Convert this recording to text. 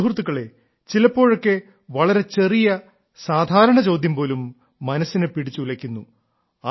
സുഹൃത്തുക്കളേ ചിലപ്പോഴൊക്കെ വളരെ ചെറിയ സാധാരണ ചോദ്യം പോലും മനസ്സിനെ പിടിച്ചുലയ്ക്കുന്നു